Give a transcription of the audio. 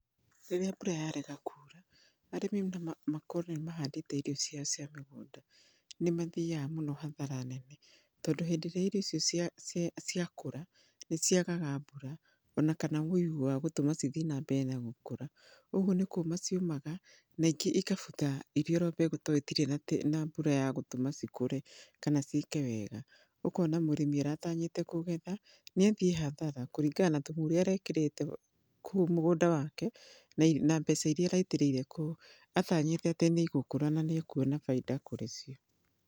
Rĩrĩa mbura yarega kura arĩmi makorwo nĩmahandĩte irio ciao cia mĩgũnda nĩmathiyaga mũno hathara nene, tondũ hĩndĩ ĩrĩa irio icio cia cia ciakũra nĩciagaga mbura ona kana ũigũ wa gũtũma cithiĩ na mbere na gũkũra, ũguo nĩ kũma ciũmaga na ingĩ ikabutha cirĩ o mbegũ tondũ itirĩ na mbura ya gũtũma cikũre kana ciĩke wega. Ũkona murĩmi aratanyĩte kũgetha nĩathiĩ hathara kũringana na thumu ũrĩa arekĩrĩte kũu mũgũnda wake na mbeca iria araitĩrĩire kũu atanyĩte atĩ nĩigũkũra na nĩ akuona bainda kũrĩ cio.